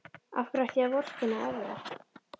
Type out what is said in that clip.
Af hverju ætti ég að vorkenna Evra?